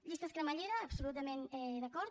llistes cremallera absolutament d’acord